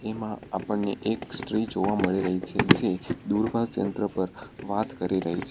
એમાં આપણને એક સ્ત્રી જોવા મળી રહી છે જે દૂરભાષ યંત્ર પર વાત કરી રહી છે.